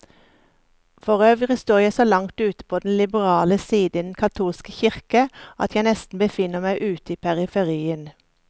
Forøvrig står jeg så langt ute på den liberale side i den katolske kirke, at jeg nesten befinner meg ute i periferien.